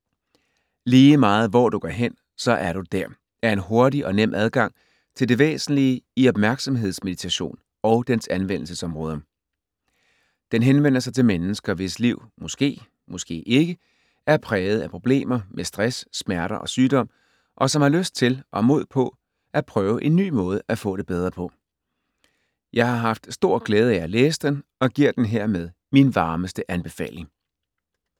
"Lige meget hvor du går hen, så er du der" er en hurtig og nem adgang til det væsentlige i opmærksomhedsmeditation og dens anvendelsesområder. Den henvender sig til mennesker, hvis liv - måske, måske ikke - er præget af problemer med stress, smerter og sygdom, og som har lyst til og mod på at prøve en ny måde at få det bedre på. Jeg har haft stor glæde af at læse den og giver den hermed min varmeste anbefaling.